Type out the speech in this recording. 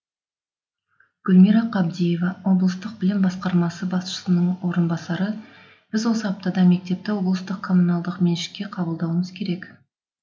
гүлмира қабдиева облыстық білім басқармасы басшысының орынбасары біз осы аптада мектепті облыстық коммуналдық меншікке қабылдауымыз керек